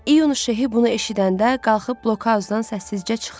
İyun Şehi bunu eşidəndə qalxıb blokauzdandan səssizcə çıxdı.